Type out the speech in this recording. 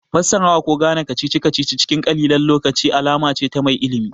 Fassarawa ko Ganewar kacici kacici cikin ƙalilan lokaci alama ce ta mai ilimi